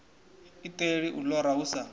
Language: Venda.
iṱeli u lora hu sa